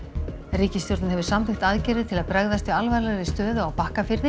ríkisstjórnin hefur samþykkt aðgerðir til að bregðast við alvarlegri stöðu á Bakkafirði